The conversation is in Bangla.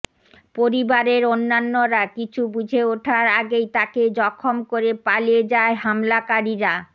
পরিবারের অন্যান্যরা কিছু বুঝে ওঠার আগেই তাকে জখম করে পালিয়ে যায় হামলাকারীরা